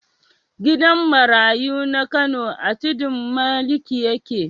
Gidan marayu na Kano a Tudun Maliki yake.